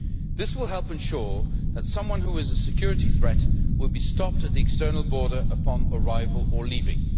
This will help ensure that someone who is a security threat will be stopped at the external border, upon arrival or leaving.